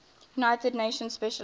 united nations specialized